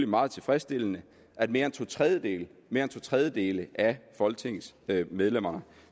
meget tilfredsstillende at mere end to tredjedele tredjedele af folketingets medlemmer